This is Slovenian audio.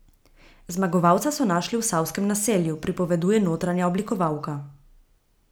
Zmagovalca so našli v Savskem naselju, pripoveduje notranja oblikovalka.